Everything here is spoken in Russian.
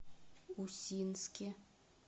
усинске